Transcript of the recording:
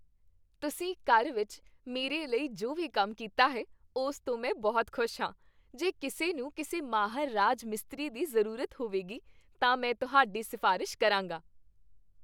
ਤੁਸੀਂ ਘਰ ਵਿੱਚ ਮੇਰੇ ਲਈ ਜੋ ਵੀ ਕੰਮ ਕੀਤਾ ਹੈ, ਉਸ ਤੋਂ ਮੈਂ ਬਹੁਤ ਖੁਸ਼ ਹਾਂ। ਜੇ ਕਿਸੇ ਨੂੰ ਕਿਸੇ ਮਾਹਰ ਰਾਜ ਮਿਸਤਰੀ ਦੀ ਜ਼ਰੂਰਤ ਹੋਵੇਗੀ, ਤਾਂ ਮੈਂ ਤੁਹਾਡੀ ਸਿਫਾਰਸ਼ ਕਰਾਂਗਾ।